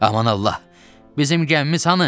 Aman Allah, bizim gəmimiz hanı?